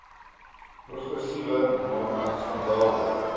progressiewe norme standaarde